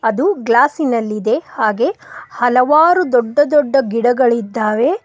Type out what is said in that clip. ಅದು ಗ್ಲಾಸಿ ನಲ್ಲಿದೆ ಹಾಗೆ ಹಲವಾರು ದೊಡ್ಡ ದೊಡ್ಡ ಗಿಡಗಳಿದ್ದಾವೆ.